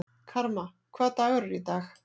Karma, hvaða dagur er í dag?